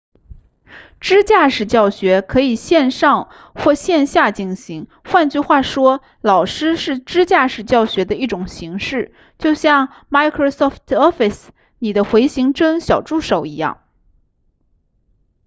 支架式教学可以线上或线下进行换句话说老师是支架式教学的一种形式就像 microsoft office 里的回形针小助手一样